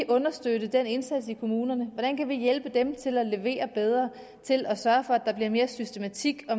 understøtte den indsats i kommunerne hvordan vi kan hjælpe dem til at levere bedre og til at sørge for at der bliver mere systematik og